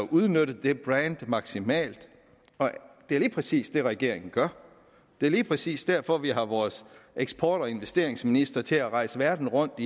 at udnytte det brand maksimalt det er lige præcis det regeringen gør det er lige præcis derfor vi har vores eksport og investeringsminister til at rejse verden rundt